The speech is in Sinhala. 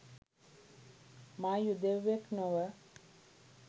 මා යුදෙව්වෙක් නොව